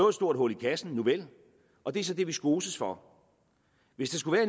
et stort hul i kassen nuvel og det er så det vi skoses for hvis der skulle